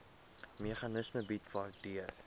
meganisme bied waardeur